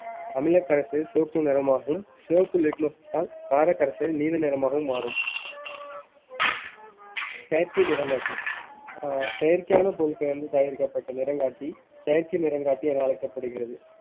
அமிலக்கரசு சிவப்பு நிறமாகும் சிவப்பு litmus தாள் காரக் கரைசல் நீல நிறமாகவும் மாறும் செயற்கை நிறங்காட்டி ஆஹ் செயற்கையான பொருட்களில் இருந்து தயாரிக்கப்பட்ட நிறங்காட்டி செயற்கை நிறங்காட்டி என அழைக்கப்படுகிறது